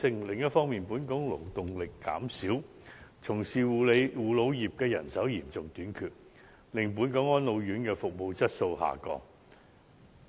另一方面，本港勞動力減少，從事護老業的人手嚴重短缺，令本港安老院服務質素下降。